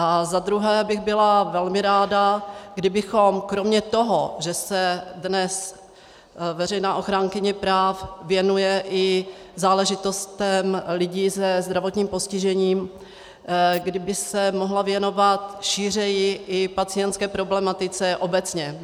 A za druhé bych byla velmi ráda, kdybychom kromě toho, že se dnes veřejná ochránkyně práv věnuje i záležitostem lidí se zdravotním postižením, kdyby se mohla věnovat šířeji i pacientské problematice obecně.